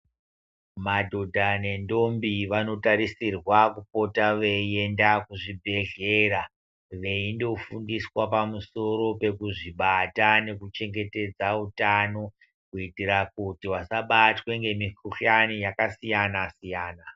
Madhodha nendombi vanotarisirwa kupota veienda kuzvibhedhlera veindofundiswa pamusoro pekuzvibata nekuchengetedza utano. Kuitira kuti vasabatwe ngemikuhlani yakasiyana-siyana.